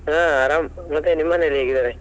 ಹಾ ಆರಾಮ್ ಮತ್ತೆ, ನಿಮ್ಮ್ ಮನೇಲಿ ಹೇಗಿದ್ದಾರೆ?